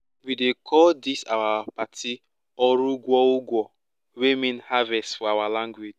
we dey call dis our party "oru ugwo" ugwo" wey mean harvest for our language